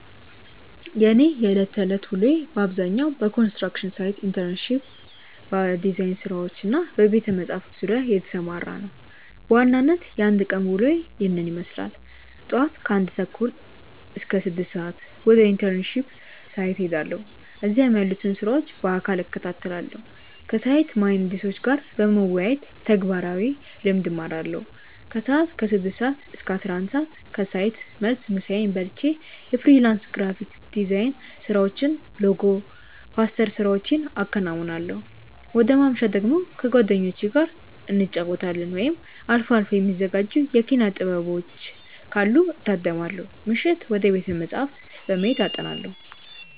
የእኔ የዕለት ተዕለት ውሎ በአብዛኛው በኮንስትራክሽን ሳይት ኢንተርንሺፕ፣ በዲዛይን ስራዎች እና በቤተ-መጻሕፍት ዙሪያ የተሰማራ ነው። በዋናነት የአንድ ቀን ውሎዬ ይህንን ይመስላል፦ ጧት (ከ1:30 - 6:00)፦ ወደ ኢንተርንሺፕ ሳይት እሄዳለሁ። እዚያም ያሉትን ስራዎች በአካል እከታተላለሁ። ከሳይት መሃንዲሶች ጋር በመወያየት ተግባራዊ ልምድ እማራለሁ። ከሰዓት (ከ6:00 - 11:00)፦ ከሳይት መልስ ምሳዬን በልቼ የፍሪላንስ ግራፊክ ዲዛይን ስራዎችን (ሎጎ፣ ፖስተር ስራዎቼን አከናውናለሁ። ወደ ማምሻ ደግሞ፦ ከጓደኞቼ ጋር እንጫወታለን፣ ወይም አልፎ አልፎ የሚዘጋጁ የኪነ-ጥበቦችን ካሉ እታደማለሁ። ምሽት፦ ወደ ቤተ-መጻሕፍት በመሄድ አጠናለሁ።